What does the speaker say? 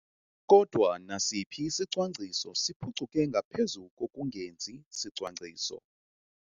Kodwa nasiphi isicwangciso siphucuke ngaphezu kokungenzi sicwangciso.